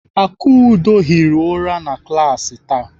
Akudo hiri ụra na klaasị taa.